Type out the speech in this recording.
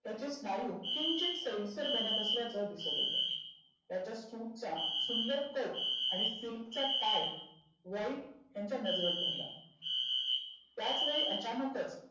त्याचे स्नायू किंचीत सैलसर बनत असल्याचं दिसत होतं. त्याच्या सुटचा सुंदर कट आणि सिल्कचा टाय वाईट त्याच्या नजरेत भरला. त्याच वेळी अचानकच